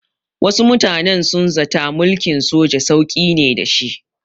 Wasu mutanen sun zata mulkin soja sauƙi ne da shi.